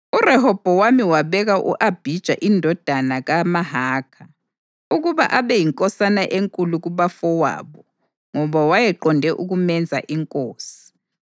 URehobhowami wabeka u-Abhija indodana kaMahakha ukuba abe yinkosana enkulu kubafowabo ngoba wayeqonde ukumenza inkosi.